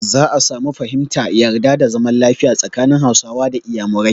Za a samun fahimta, yarda da zaman lafiya tsakanin Hausawa da Iyamurai.